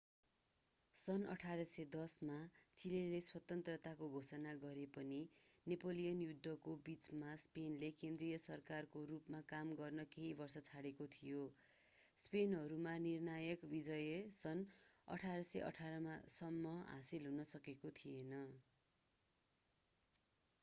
सन् 1810 मा चिलेले स्वतन्त्रताको घोषणा गरे पनि नेपोलियन युद्धको बिचमा स्पेनले केन्द्रीय सरकारको रूपमा काम गर्न केही वर्षको छोडेको थियो स्पेनीहरूमा निर्णायक विजय सन् 1818 सम्म हासिल हुन सकेको थिएन।